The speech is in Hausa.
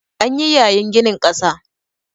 An yi yayin ginin ƙasa